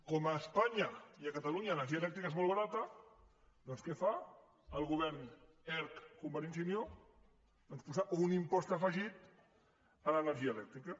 com que a espanya i a catalunya l’energia elèctrica és molt barata doncs què fa el govern erc convergència i unió doncs posar un impost afegit a l’energia elèctrica